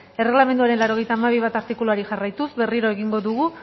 erreglamenduaren laurogeita hamabi puntu bat artikuluari jarraituz berriro egingo dugu